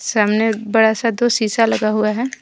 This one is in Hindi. सामने बड़ा सा दो शीशा लगा हुआ है।